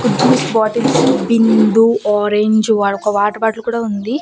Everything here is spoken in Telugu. ఇక్కడ జ్యూస్ బాటిల్స్ బిందు ఆరెంజ్ వార్ ఒక వాటర్ బాటిల్ కూడా ఉంది.